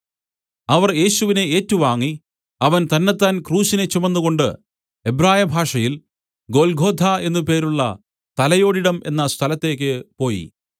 അവർ യേശുവിനെ ഏറ്റുവാങ്ങി അവൻ തന്നത്താൻ ക്രൂശിനെ ചുമന്നുകൊണ്ടു എബ്രായ ഭാഷയിൽ ഗൊല്ഗോഥാ എന്നു പേരുള്ള തലയോടിടം എന്ന സ്ഥലത്തേയ്ക്ക് പോയി